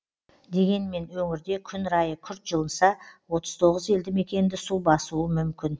дегенмен өңірде күн райы күрт жылынса отыз тоғыз елді мекенді су басуы мүмкін